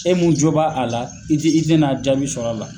E min jɔ b'a a la i te i te na jaabi sɔrɔ la